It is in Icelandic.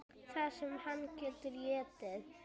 Það sem hann getur étið!